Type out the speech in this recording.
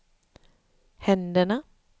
händerna